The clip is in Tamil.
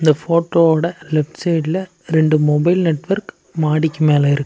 இந்த போட்டோவோட லெஃப்ட் சைடுல ரெண்டு மொபைல் நெட்வொர்க் மாடிக்கு மேல இருக்கு.